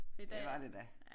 Det var det da